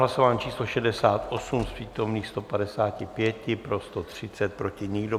Hlasování číslo 68, z přítomných 155 pro 130, proti nikdo.